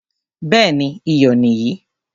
Béèni iyọ̀ nì yìí.